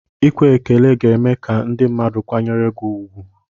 Ekwe ekele ga eme ka ndị mmadụ kwanyere gị ugwu.